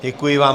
Děkuji vám.